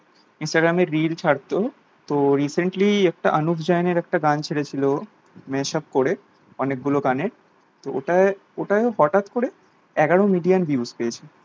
instagram এ reel ছাড়তো তো recently একটা অনুভ জৈন এর একটা গান ছেড়েছিলো mashup করে অনেকগুলো গানে তো ওটায় ওটায় ও হঠাৎ করে এগারো মিলিয়ন views পেয়েছে